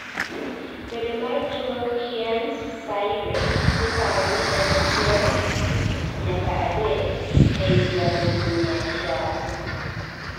bedo mar tuo Kearns -Sayre iparo ni en achiel nyaka adek ei ji alufu mia achiel